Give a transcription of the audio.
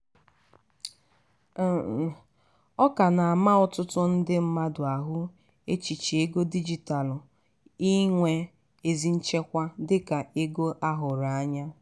ọ ka na-ama ọtụtụ ndị mmadụ ahụ echiche ego dijitalu inwe ezi nchekwa dika ego a hụrụ anya.